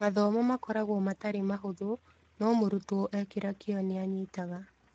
Mathomo makoragwo matarĩ mahũthũ no mũrutwo ekĩra kĩo nĩanyitaga.